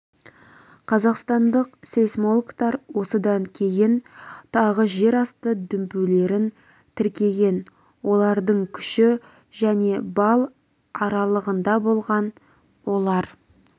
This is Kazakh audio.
қазақстандық сейсмологтар осыдан кейін тағы жер асты дүмпулерін тіркеген олардың күші және балл аралығында болған олар